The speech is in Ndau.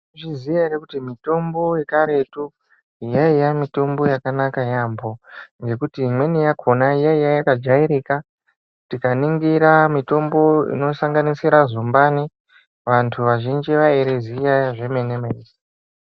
Mai zviziya ere kuti mitombo yekaretu yaiya mitombo yakanaka yambo nekuti imweni yakona yaiya yaka jairika tika ningira mitombo ino sanganisira zumbani vantu vazhinji vairi ziya zve mene mene.